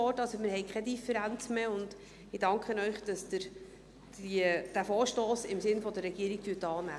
Wir haben also keine Differenz mehr, und ich danke Ihnen, dass Sie diesen Vorstoss im Sinn der Regierung annehmen.